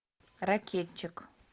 ракетчик